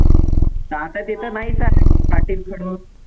आता ते तर नाहीच आहे पाटी आणि खडू